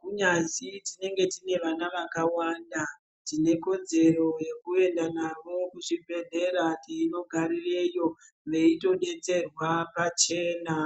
kunyazi tinenge tine vana vakawanda. Tine kodzero yekuenda navo kuzvibhedhlera teinogaririreyo veitodetserwa pachena.